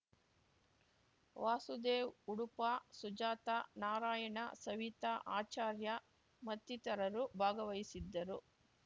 ವಾಸುದೇವ್‌ ಉಡುಪ ಸುಜಾತ ನಾರಾಯಣ ಸವಿತಾ ಆಚಾರ್ಯ ಮತ್ತಿತರರು ಭಾಗವಹಿಸಿದ್ದರು